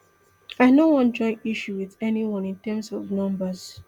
i no wan join issues wit anyone in terms of numbers